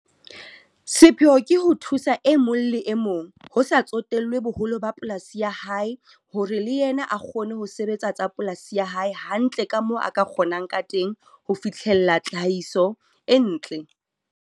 Sepheo ke ho thusa e mong le e mong ho sa tsotellwe boholo ba polasi ya hae hore le yena a kgone ho sebetsa tsa polasi ya hae hantle ka moo a ka kgonang ka teng ho fihlella tlhahiso e ntle.